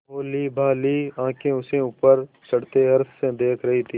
भोलीभाली आँखें उसे ऊपर चढ़ते हर्ष से देख रही थीं